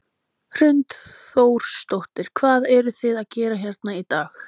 Hrund Þórsdóttir: Hvað eruð þið að gera hérna í dag?